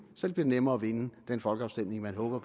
så det bliver nemmere at vinde den folkeafstemning man håber